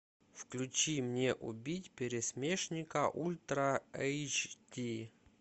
включи мне убить пересмешника ультра эйч ди